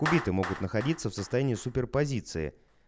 убитые могут находиться в состоянии суперпозиции